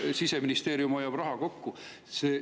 Siseministeerium hoiab raha kokku.